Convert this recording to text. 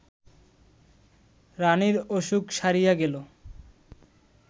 রাণীর অসুখ সারিয়া গেল